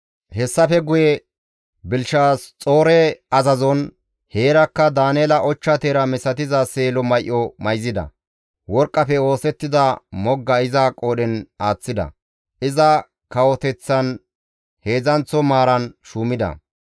Hessafe guye Belishaxoore azazon heerakka Daaneela ochcha teera misatiza seelo may7o mayzida; worqqafe oosettida mogga iza qoodhen aaththida; iza kawoteththan heedzdzanththo maaran shuumida.